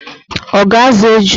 Ọ ga-azụ eju?